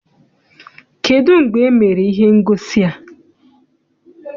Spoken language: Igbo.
Kedụ mgbe emere ihe ngosi a?